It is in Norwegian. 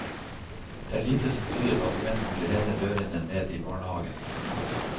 Det er lite som tyder på at menn vil renne dørene ned i barnehagene.